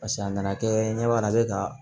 Paseke a nana kɛ ɲɛ b'a la a be ka